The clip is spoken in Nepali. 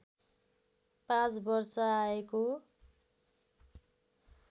पाँच वर्ष आएको